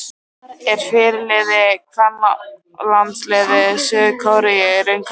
Er fyrirliði kvennalandsliðs Suður-Kóreu í raun karlmaður?